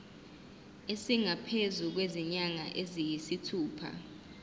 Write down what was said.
esingaphezu kwezinyanga eziyisithupha